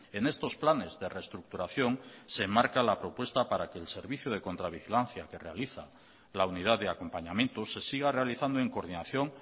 en estos planes de reestructuración se marca la propuesta para que el servicio de contravigilancia que realiza la unidad de acompañamiento se siga realizando en coordinación